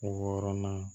Wɔɔrɔnan